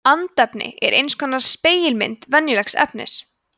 andefni er eins konar spegilmynd venjulegs efnis